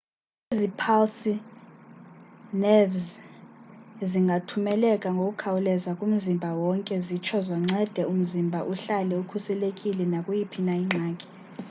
ezi phalsi zenevzi zingathumeleka ngokukhawuleza kumzimba wonke zitsho zoncede umzimba uhlale ukhuselekile nakuyiphi na ingxaki